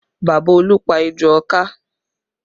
Bàbá Olú pá ejò ọká